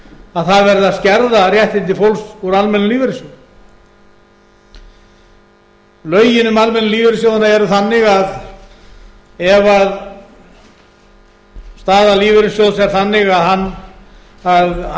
að það verði að skerða réttindi fólks úr almennum lífeyrissjóðum lögin um almennu lífeyrissjóðina eru þannig að ef staða lífeyrissjóðs er þannig að hann á